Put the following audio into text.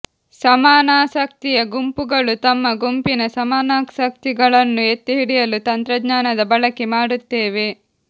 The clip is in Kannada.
ಸಮಾನಾಸಕ್ತಿಯ ಗುಂಪುಗಳು ತಮ್ಮ ಗುಂಪಿನ ಸಮನಾಸಕ್ತಿಗಳನ್ನು ಎತ್ತಿಹಿಡಿಯಲು ತಂತ್ರಜ್ಞಾನದ ಬಳಕೆ ಮಾಡುತ್ತೇವೆ